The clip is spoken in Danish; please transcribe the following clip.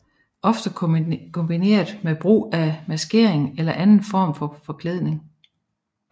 Ofte kombineret med brug af maskering eller anden form for forklædning